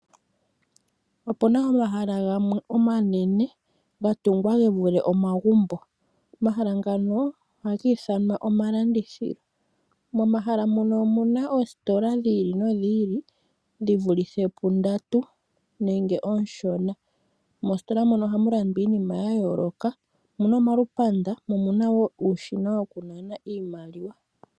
Opuna omahala gamwe omanene ga tungwa ge vule omagumbo omahala ngano ohagi ithanwa omalandithilo. Momahala mono omuna oositola dhi ili nodhi ili dhi vulithe pundatu nenge ooshona. Moostola moka ohamu landwa iinima ya yooloka omuna omalupanda mo omuna wo uushina woku nana iimaliwa.